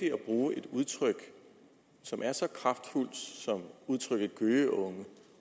bruge et udtryk som er så kraftfuldt som udtrykket gøgeunge